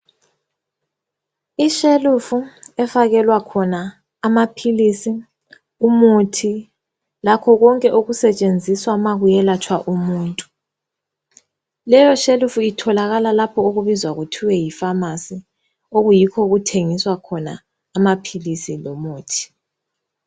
Ishelufu efakelwa khona amaphilisi, umuthi lakho konke okusetshenziswa ukwelapha umuntu. Leyo shelufu itholakala lapho okubizwa khona kuthiwa yifamasi, okuyikho okuthengiswa khona amaphilisi lomuthi.